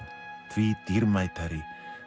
því dýrmætari